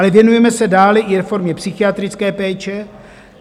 Ale věnujeme se dále i reformě psychiatrické péče.